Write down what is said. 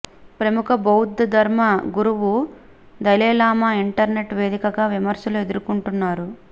ప్రముఖ బౌద్ధ ధర్మ గురువు దలైలామా ఇంటర్నెట్ వేదికగా విమర్శలు ఎదుర్కొంటున్నారు